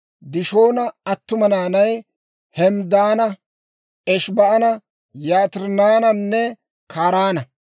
Dishoona attuma naanay Hemddaana, Eshibaana, Yitiraananne Karaana.